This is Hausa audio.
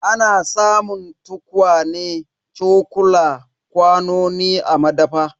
Ana samun tukwane, cokula, kwanoni a madafa.